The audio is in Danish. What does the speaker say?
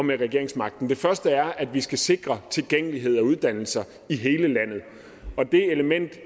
med regeringsmagten det første er at vi skal sikre tilgængelighed af uddannelser i hele landet det element